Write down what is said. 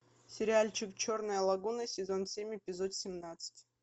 сериальчик черная лагуна сезон семь эпизод семнадцать